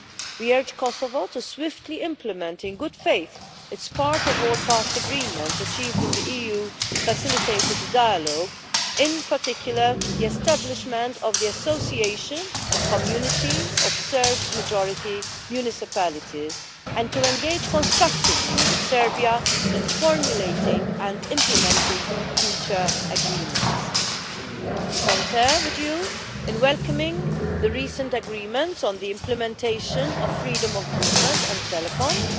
We urge Kosovo to swiftly implement in good faith its part of all past agreements achieved in the EU-facilitated dialogue, in particular the establishment of the Association Community of Serb-majority Municipalities, and to engage constructively with Serbia in formulating and implementing future agreements. We concur with you in welcoming the recent agreements on the implementation of freedom of movement and telecoms.